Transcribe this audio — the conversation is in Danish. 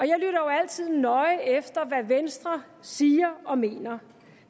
jo altid nøje efter hvad venstre siger og mener